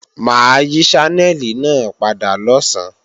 Mà á yí Ṣánẹ́lì náà padà lọ̀sán